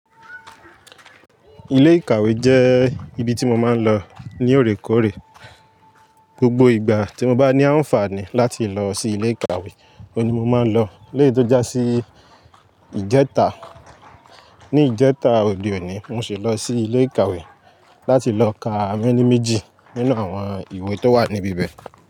Ilé ìkàwé jẹ́ ibi tí mo máa ń lọ ní òorékòóré. Gbogbo ìgbà tí mo bá ní àǹfààní láti lọ sí ilé ìkàwé, ọ̀ ní mo máa ń lọ. Léyí tó já sí ìjẹta, ní ìjẹta òde òní mo sì lọ sí ilé ìkàwé láti lọ kà mení méjì nínú àwọn ìwé tó wà níbí bẹ́ẹ̀